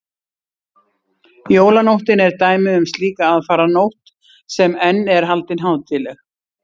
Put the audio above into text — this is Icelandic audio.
jólanóttin er dæmi um slíka aðfaranótt sem enn er haldin hátíðleg